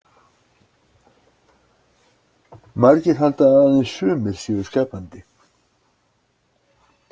Margir halda að aðeins sumir séu skapandi.